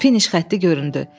Finiş xətti göründü.